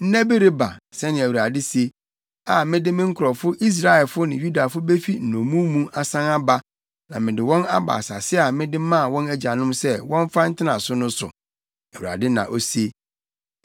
Nna bi reba,’ sɛnea Awurade se, ‘a mede me nkurɔfo Israelfo ne Yudafo befi nnommum mu asan aba na mede wɔn aba asase a mede maa wɔn agyanom sɛ wɔmfa ntena so no so,’ Awurade na ose.”